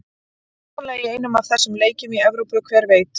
Hugsanlega í einum af þessum leikjum í Evrópu, hver veit?